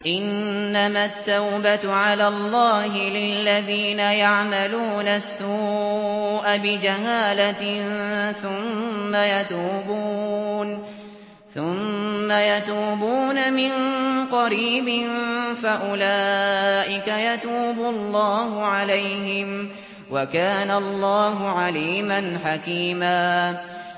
إِنَّمَا التَّوْبَةُ عَلَى اللَّهِ لِلَّذِينَ يَعْمَلُونَ السُّوءَ بِجَهَالَةٍ ثُمَّ يَتُوبُونَ مِن قَرِيبٍ فَأُولَٰئِكَ يَتُوبُ اللَّهُ عَلَيْهِمْ ۗ وَكَانَ اللَّهُ عَلِيمًا حَكِيمًا